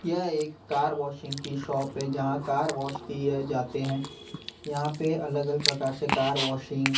यह एक car washing की शॉप है जहां कार वॉश किए जाते हैं यहां पे अलग अलग प्रकार से कार वॉशिंग --